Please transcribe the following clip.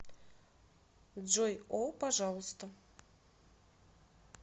джой о пожалуйста